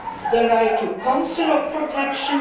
the right to consular protection